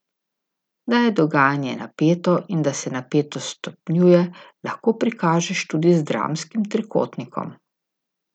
Da je dogajanje napeto in da se napetost stopnjuje, lahko prikažeš tudi z dramskim trikotnikom.